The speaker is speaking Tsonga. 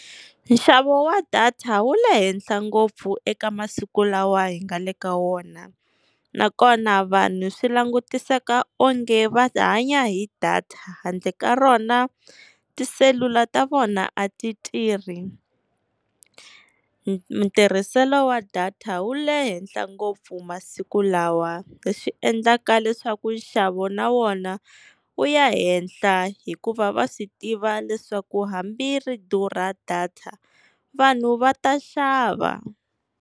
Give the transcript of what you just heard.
Nxavo wa data wu le henhla ngopfu eka masiku lawa hi nga le ka wona. Nakona vanhu swi langutiseka onge va hanya hi data, handle ka rona tiselula ta vona a ti tirhi. Ntirhiselo wa data wu le henhla ngopfu masiku lawa, leswi endlaka leswaku nxavo na wona wu ya henhla hikuva va swi tiva leswaku hambi ri durha data vanhu va ta xava.